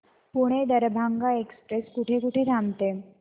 Pune Darbhanga express कुठे कुठे थांबते